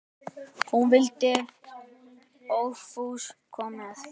Hún vildi óðfús koma með.